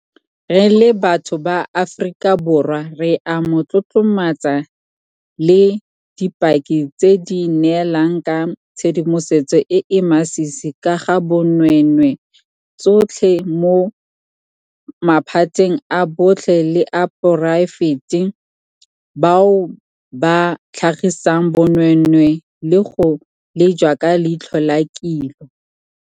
Re le batho ba Aforika Borwa re a mo tlotlomatsa le dipaki tse di neelang ka tshedimosetso e e masisi ka ga bonweenwee tsotlhe mo maphateng a botlhe le a poraefete bao ba tlhagisang bonweenwee le go lejwa ka leitlho la kilo.